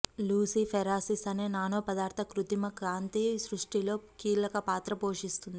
luciferases అనే nano పదార్థ కృత్రిమ కాంతి సృష్టిలో కీలకపాత్ర పోషిస్తుంది